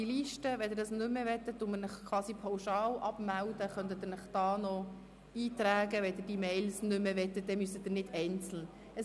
Falls Sie diese Mails nicht mehr wünschen, werden Sie durch Eintragen auf der hier vorliegenden Liste pauschal abgemeldet, so müssen Sie sich nicht einzeln abmelden.